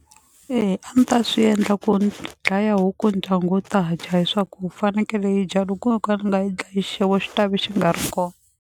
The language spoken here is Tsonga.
E a ni ta swi endla ku ni dlaya huku ndyangu wu ta dya hi swa ku fanekele hi dya loko wo ka ni nga yi dlayi xixevo xi ta ve xi nga ri kona.